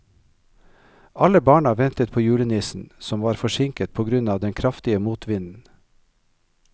Alle barna ventet på julenissen, som var forsinket på grunn av den kraftige motvinden.